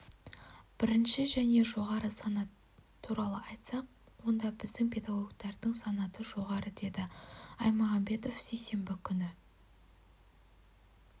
бірінші және жоғары санат туралы айтсақ онда біздің педагогтардың санаты жоғары деді аймагамбетов сейсенбі күні